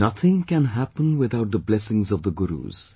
Nothing can happen without the blessings of the Gurus